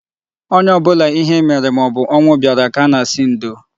Onye ọbụla ihe mere maobụ ọnwụ bịara ka a na-asị ndo